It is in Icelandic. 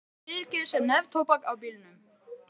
Brúna rykið sem neftóbak á bílnum.